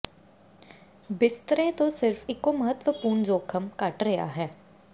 ਬਿਸਤਰੇ ਤੋਂ ਸਿਰਫ ਇਕੋ ਮਹੱਤਵਪੂਰਣ ਜੋਖਮ ਘਟ ਰਿਹਾ ਹੈ